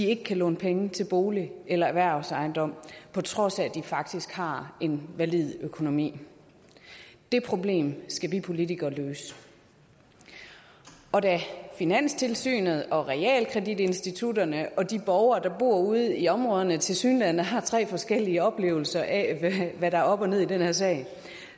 ikke kan låne penge til bolig eller erhvervsejendom på trods af at de faktisk har en valid økonomi det problem skal vi politikere løse og da finanstilsynet og realkreditinstitutterne og de borgere der bor ude i områderne tilsyneladende har tre forskellige oplevelser af hvad der er op og ned i den her sag